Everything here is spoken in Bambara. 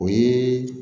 O ye